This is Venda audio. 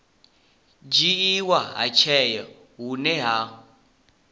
dzhiiwa ha tsheo hune hu